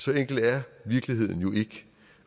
så enkel er virkeligheden jo ikke